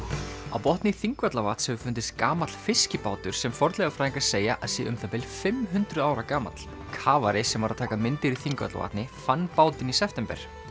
á botni Þingvallavatns hefur fundist gamall fiskibátur sem fornleifafræðingar segja að sé um það bil fimm hundruð ára gamall kafari sem var að taka myndir í Þingvallavatni fann bátinn í september